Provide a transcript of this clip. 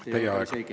Teie aeg!